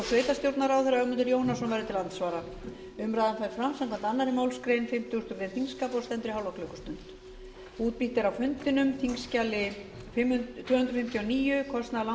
sveitarstjórnarráðherra ögmundur jónasson verður til andsvara umræðan fer fram samkvæmt annarri málsgrein fimmtugustu grein þingskapa og stendur í hálfa klukkustund